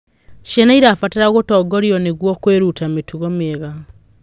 Ciana irabatara gũtongorio nĩguo kwĩruta mĩtugo mĩega